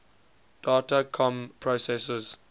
data comm processors